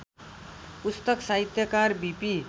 पुस्तक साहित्यकार बिपी